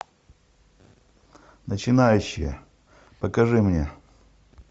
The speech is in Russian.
начинающие покажи мне